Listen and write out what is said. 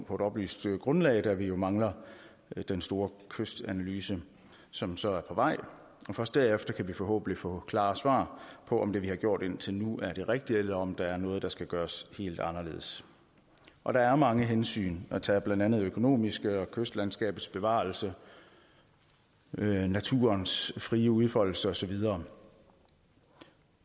på et oplyst grundlag tidspunkt da vi jo mangler den store kystanalyse som så er på vej først derefter kan vi forhåbentlig få klare svar på om det vi har gjort indtil nu er det rigtige eller om der er noget der skal gøres helt anderledes og der er mange hensyn at tage blandt andet økonomiske og kystlandskabets bevarelse naturens frie udfoldelse og så videre